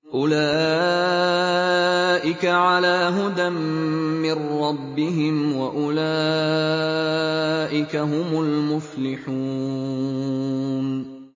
أُولَٰئِكَ عَلَىٰ هُدًى مِّن رَّبِّهِمْ ۖ وَأُولَٰئِكَ هُمُ الْمُفْلِحُونَ